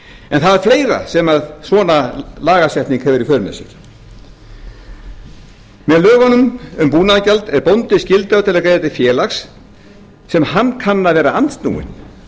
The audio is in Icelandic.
en það er fleira sem svona lagasetning hefur í för með sér með lögunum um búnaðargjald er bóndi skyldaður til að greiða til félags sem hann kann að vera andsnúinn